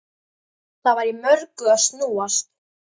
Það var í mörgu að snúast.